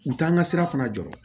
U t'an ka sira fana jɔ